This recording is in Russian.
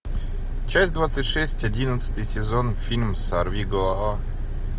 часть двадцать шесть одиннадцатый сезон фильм сорвиголова